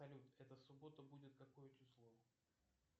салют эта суббота будет какое число